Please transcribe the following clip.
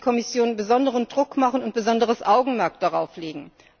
Hier muss die Kommission besonderen Druck ausüben und besonderes Augenmerk darauf legen.